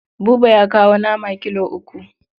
Buba ya kawo nama kilo uku.